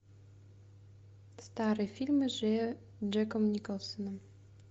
старые фильмы с джеком николсоном